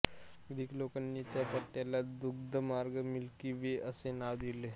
Greek लोकांनी त्या पट्ट्याला दुग्ध मार्ग मिल्की वे असे नाव ठेवले